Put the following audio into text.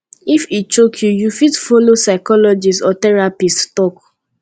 if e choke you you fit follow psychologist or therapist talk